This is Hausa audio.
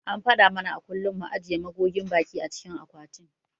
An faɗa mana a kullum mu ajiye magogin baki a cikin akwatin.